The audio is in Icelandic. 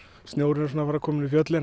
snjórinn kominn í fjöllinn